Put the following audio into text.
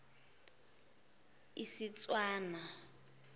istswana